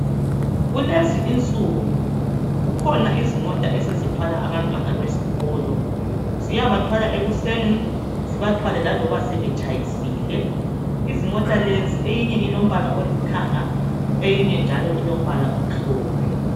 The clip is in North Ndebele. Kulezi insuku kukhona izimota esezithwala abantwana besikolo ziyabathwala ekuseni zibathwale laloba sebetshayisile izimota lezi eyinye ilombala olithanga eyinye ilombala omhlophe.